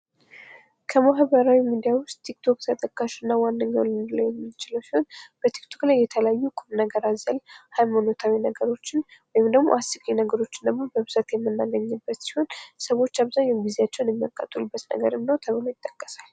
ከማህበራዊ ሚዲያ ዉስጥ ቲክቶክ ተጠቃሽ እና ዋነኛዉ ልንለዉ የምንችለዉ ሲሆን በቲክቶክ ላይ የተለያዩ ቁም ነገር አዘል ሀይማኖታዊ ነገሮችን ወይም ደግሞ አስቂኝ ነገሮችን ደግሞ በብዛት የምናገኝበት ሲሆን ሰዎች አብዛኛዉን ጊዜያቸዉን የሚያቃጥሉበት ነዉ ተብሎ ይታሰባል።